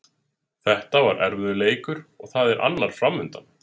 Þetta var erfiður leikur og það er annar framundan.